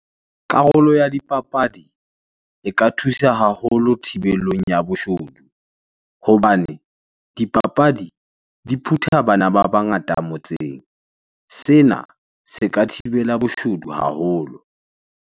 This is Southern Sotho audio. Karolo ya dipapadi e ka thusa haholo thibelong ya boshodu hobane dipapadi di phutha bana ba bangata motseng. Sena se ka thibela boshodu haholo.